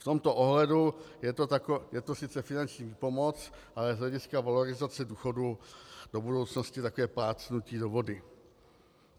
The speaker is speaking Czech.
V tomto ohledu je to sice finanční výpomoc, ale z hlediska valorizace důchodu do budoucnosti takové plácnutí do vody.